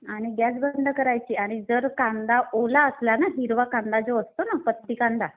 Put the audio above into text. आणि गॅस बंद करायची. आणि जर कांदा ओला असला ना हिरवा कांदा जो असतो ना पत्ती कांदा.